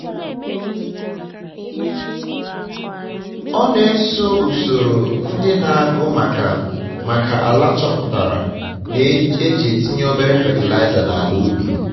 ọ na-eso usoro ndị na-agụ maka maka ala choputara e ji etinye obere fatịlaịza na ala ubi